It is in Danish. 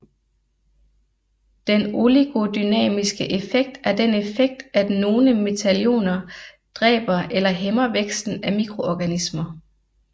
Den oligodynamiske effekt er den effekt at nogle metalioner dræber eller hæmmer væksten af mikroorganismer